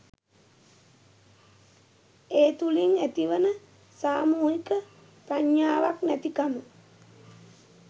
ඒ තුළින් ඇතිවන සාමූහික ප්‍රඥාවක් නැතිකම.